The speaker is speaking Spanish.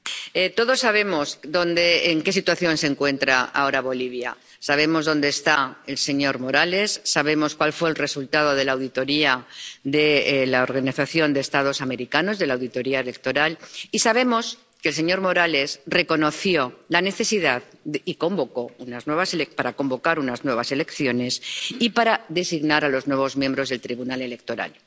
Señora presidenta, todos sabemos en qué situación se encuentra ahora Bolivia. Sabemos dónde está el señor Morales, sabemos cuál fue el resultado de la auditoría de la Organización de los Estados Americanos —de la auditoría electoral—, y sabemos que el señor Morales reconoció la necesidad de convocar unas nuevas elecciones —y las convocó— y de designar a los nuevos miembros del tribunal electoral.